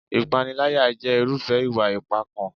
Ìpániláyà jẹ́ irúfẹ́ ìwà ipá kan.